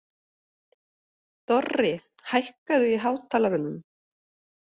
Dorri, hækkaðu í hátalaranum.